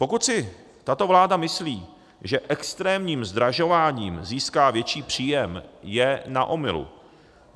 Pokud si tato vláda myslí, že extrémním zdražováním získá větší příjem, je na omylu.